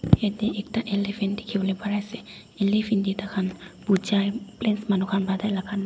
yate ekta elephant dikhibole pare ase elephant teh tai khan bojai village manu khan pa tai laga naam--